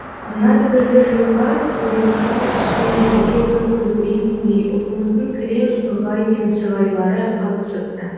мына дүбірлі жиынға көлеңкесі түскен жерге күн күркірейтіндей ұлтымыздың кілең ығай мен сығайлары қатысыпты